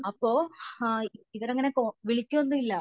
അപ്പോ ആഹ് ഇവിടെ അങ്ങനെ വിളിക്കൊന്നുല്യ